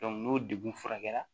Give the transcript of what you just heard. n'o dekun furakɛra